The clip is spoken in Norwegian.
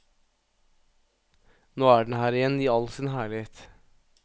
Nå er den her igjen i all sin herlighet.